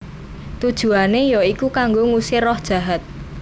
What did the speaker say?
Tujuané ya iku kanggo ngusir roh jahat